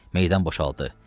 Meydan boşaldı.